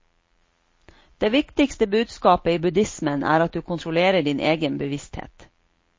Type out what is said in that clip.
Det viktigste budskapet i buddhismen er at du kontrollerer din egen bevissthet.